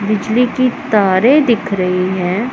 बिजली की तारे दिख रही हैं।